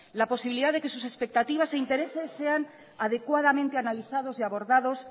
la posibilidad de que sus expectativas e intereses sean adecuadamente analizados y abordados